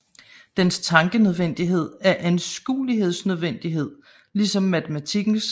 Dens Tankenødvendighed er Anskuelsesnødvendighed ligesom Matematikkens